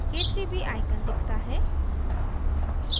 k3b icon दिखता है